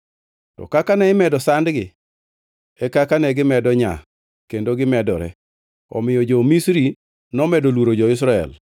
To kaka ne imedo sandgi, e kaka negimedo nyaa kendo gimedore; omiyo jo-Misri nomedo luoro jo-Israel,